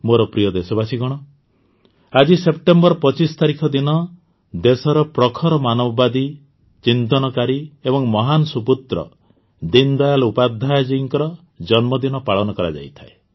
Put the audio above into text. ମୋର ପ୍ରିୟ ଦେଶବାସୀଗଣ ଆଜି ସେପ୍ଟେମ୍ବର ୨୫ ତାରିଖ ଦିନ ଦେଶର ପ୍ରଖର ମାନବବାଦୀ ଚିନ୍ତନକାରୀ ଏବଂ ମହାନ ସୁପୁତ୍ର ଦୀନଦୟାଲ ଉପାଧ୍ୟାୟ ଜୀଙ୍କ ଜନ୍ମଦିନ ପାଳନ କରାଯାଇଥାଏ